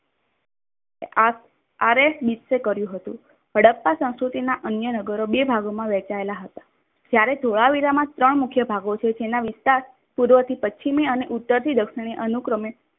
અરેટ હીટસે કર્યું હતું. હડપ્પા સંસ્કૃતિ ના અન્ય નાગરો બે ભાગોમાં વહેચાયેલા હતા. જયારે ધોળાવીરામાં સૌ મુખ્ય ભાગો છે. જેના વિસ્તાર પૂર્વથી પશ્ચિમે અને ઉત્તર થી દક્ષિણે અનુક્રમે